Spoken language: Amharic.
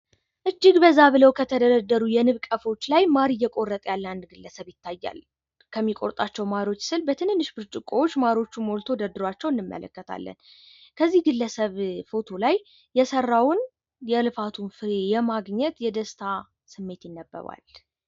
እጅግ በዛ ብለው ከተደረደሩ የንብ ቀፎች ላይ ማር እየቆረጠ ያለ አንድ ግለሰብ ይታያል። ከሚቆርጣቸው ማሮች ስር በትንሽ ብርጭቆዎች ማሮቹን ሞልቶ ደርድሯቸው እንመለከታለን። ከዚህ ግለሰብ ፎቶው ላይ የሰራውን የልፋቱን ፍሬ የማግኘት የደስታ ስሜት ይነበባል።